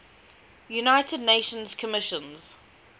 united nations commission